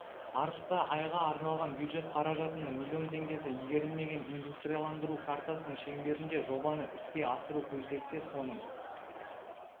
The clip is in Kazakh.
арыста айға арналған бюджет қаражатының миллион теңгесі игерілмеген индустрияландыру картасының шеңберінде жобаны іске асыру көзделсе соның